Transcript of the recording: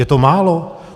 Je to málo?